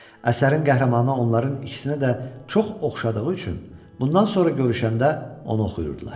Əsərin qəhrəmanı onların ikisinə də çox oxşadığı üçün bundan sonra görüşəndə onu oxuyurdular.